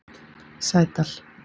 Sædal